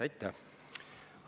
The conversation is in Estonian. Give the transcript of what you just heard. Aitäh!